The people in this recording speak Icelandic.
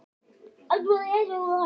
Hann heyrði klukknahringingar.